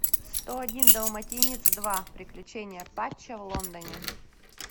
сто один далматинец два приключения патча в лондоне